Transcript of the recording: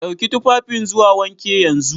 Dauki tufafin zuwa wanki yanzu!